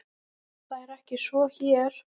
Það er ekki svo hér.